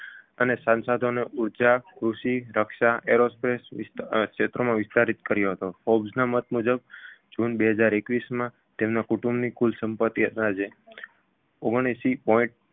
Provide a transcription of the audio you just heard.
અને સંસાધનો ઊર્જા, કૃષિ, રક્ષા, aerospace વિસ્તા અ ક્ષેત્રોમાં વિસ્તારિત કર્યો હતો forbes ના મત મુજબ જૂન બે હજાર એકવીસમાં તેમના કુટુંબની કુલ સંપતિ અંદાજે ઓગણએશી point